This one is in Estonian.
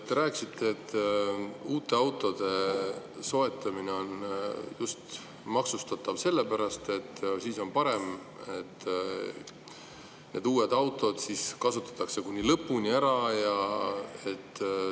Te rääkisite, et uute autode soetamine on maksustatav just sellepärast, et siis need uued autod kasutatakse kuni lõpuni ära.